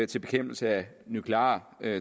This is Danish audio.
til bekæmpelse af nuklear